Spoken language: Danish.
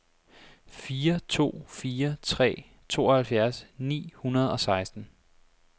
fire to fire tre tooghalvfjerds ni hundrede og seksten